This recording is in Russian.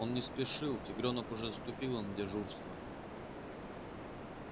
он не спешил тигрёнок уже заступила на дежурство